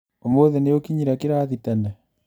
ũmũthĩ nĩũkinyire kĩrathi tene?